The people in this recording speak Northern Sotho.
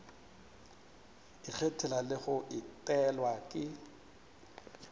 ikgethela le go etelwa ke